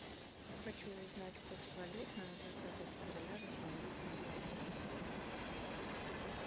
хочу узнать курс валют на двадцатое февраля восемнадцатого года